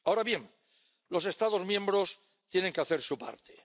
Ahora bien, los Estados miembros tienen que hacer su parte.